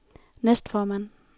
næstformand